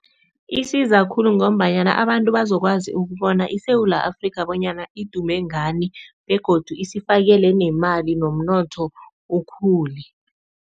Isiza khulu ngombanyana abantu bazokwazi ukubona iSewula Afrika bonyana idume ngani begodu isifakele nemali nomnotho ukhule.